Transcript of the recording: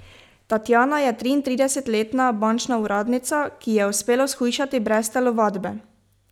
Tatjana je triintridesetletna bančna uradnica, ki ji je uspelo shujšati brez telovadbe!